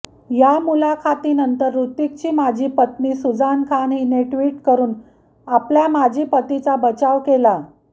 या मुलाखतीनंतर हृतिकची माजी पत्नी सुजान खान हिने ट्विट करून आपल्या माजी पतीचा बचाव केला